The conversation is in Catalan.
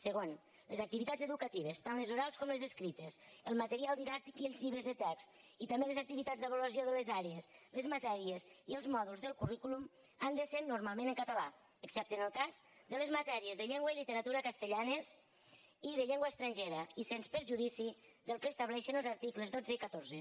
segon les activitats educatives tant les orals com les escrites el material didàctic i els llibres de text i també les activitats d’avaluació de les àrees les matèries i els mòduls del currículum han de ser normalment en català excepte en el cas de les matèries de llengua i literatura castellanes i de llengua estrangera i sens perjudici del que estableixen els articles dotze i catorze